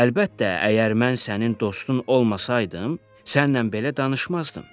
Əlbəttə, əgər mən sənin dostun olmasaydım, sənlə belə danışmazdım.